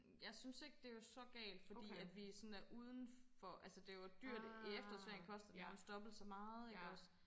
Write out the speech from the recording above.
Jeg synes ikke det var så galt fordi at vi sådan er uden for altså det var dyrt i efterårsferien koster det jo nærmest dobbelt så meget ikke også